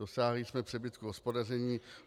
Dosáhli jsme přebytku hospodaření.